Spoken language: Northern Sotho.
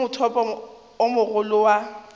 ke mothopo o mogolo wa